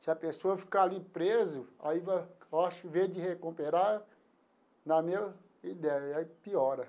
Se a pessoa ficar ali preso, aí eu acho que ao invés de recuperar na mesma ideia, aí piora.